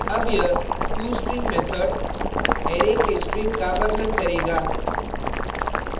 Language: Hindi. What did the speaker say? अब यह tostring method array के string का वर्णन करेगा